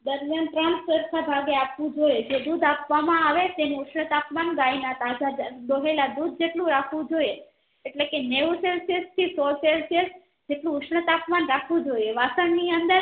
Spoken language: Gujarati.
દરમિયાન ત્રણ સરખા ભાગે આવવું જોયે જે દુધ આપવા માં આવે તેનું ઉષ્નતાપમાન ગાય ના તાજા દોહેલાં દુધ જેટલું રાખવું જોઈએ એટલે કે નેવું celsius થી સો celsius જેટલું ઉષ્નતાપમાન રાખવું જોઈએ વાસણ ની અંદર